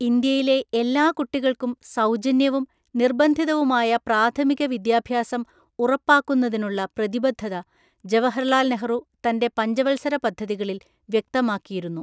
ഇന്ത്യയിലെ എല്ലാ കുട്ടികൾക്കും സൗജന്യവും നിർബന്ധിതവുമായ പ്രാഥമിക വിദ്യാഭ്യാസം ഉറപ്പാക്കുന്നതിനുള്ള പ്രതിബദ്ധത ജവഹർലാൽ നെഹ്റു തന്‍റെ പഞ്ചവത്സര പദ്ധതികളിൽ വ്യക്തമാക്കിയിരുന്നു.